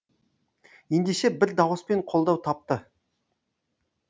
ендеше бір дауыспен қолдау тапты